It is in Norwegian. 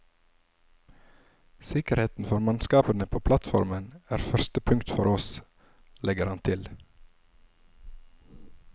Sikkerheten for mannskapene på plattformene er første punkt for oss, legger han til.